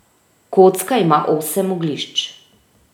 Kocka ima osem oglišč.